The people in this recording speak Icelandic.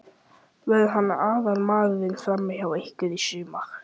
Verður hann aðalmaðurinn frammi hjá ykkur í sumar?